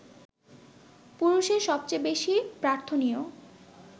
পুরুষের সবচেয়ে বেশি প্রার্থনীয়